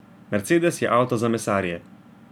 Mercedes je avto za mesarje.